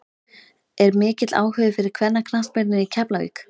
Er mikill áhugi fyrir kvennaknattspyrnu í Keflavík?